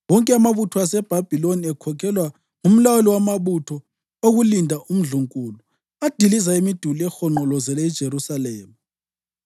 Wonke amabutho aseBhabhiloni, ekhokhelwa ngumlawuli wamabutho okulinda umndlunkulu, adiliza imiduli ehonqolozele iJerusalema.